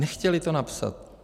Nechtěli to napsat.